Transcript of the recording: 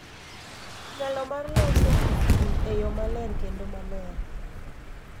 Nyalo mar loso gi ji e yo maler kendo maler